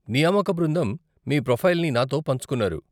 నియామక బృందం మీ ప్రొఫైల్ని నాతో పంచుకున్నారు.